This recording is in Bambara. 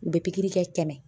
U bɛ pikiri kɛ tɛmɛ